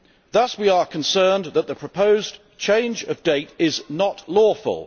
Thus we are concerned that the proposed change of date is not lawful.